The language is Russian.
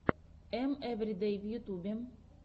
эм эвридэй в ютюбе